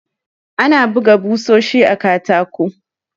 Ana buga ɓusoshi a katako.